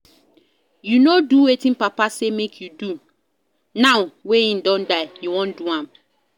You no do wetin papa say make you do, now wey he don die you wan do am